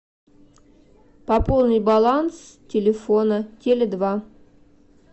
пополнить баланс телефона теле два